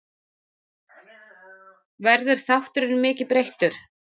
Verður þátturinn mikið breyttur?